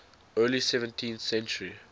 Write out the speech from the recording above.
early seventeenth century